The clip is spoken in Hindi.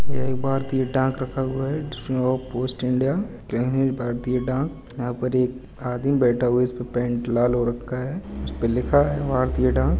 यह एक भारतीय डाक रखा हुआ है जिसमे वो पोस्ट इंडिया केंद्रीय भारतीय डाक यहाँ पर एक आदमी बैठा हुआ जिस पर पेंट लाल हो रखा है उसपे लिखा है भारतीय डाक।